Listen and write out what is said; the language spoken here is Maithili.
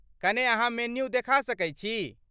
कने अहाँ मेन्यू देखा सकैत छी?